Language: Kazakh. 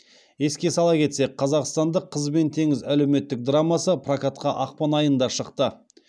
еске сала кетсек қазақстандық қыз бен теңіз әлеуметтік драмасы прокатқа ақпан айында шықты